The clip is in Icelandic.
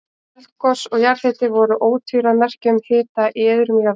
Eldgos og jarðhiti voru ótvíræð merki um hita í iðrum jarðar.